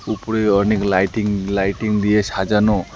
উপরে অনেক lighting lighting দিয়ে সাজানো।